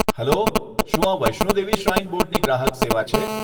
Hello, શું આ Vaishno Devi shrine બોર્ડની ગ્રાહક સેવા છે?